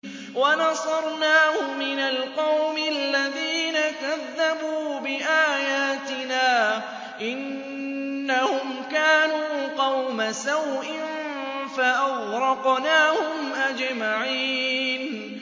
وَنَصَرْنَاهُ مِنَ الْقَوْمِ الَّذِينَ كَذَّبُوا بِآيَاتِنَا ۚ إِنَّهُمْ كَانُوا قَوْمَ سَوْءٍ فَأَغْرَقْنَاهُمْ أَجْمَعِينَ